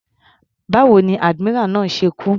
Báwo ni admiral náà ṣe kú.